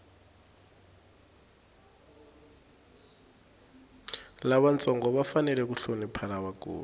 lavantsongo va fanele ku hlonipha lavakulu